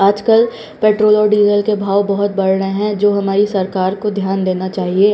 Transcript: आजकल पेट्रोल और डीजल के भाव बहुत बढ़ रहे हैं जो हमारी सरकार को ध्यान देना चाहिए।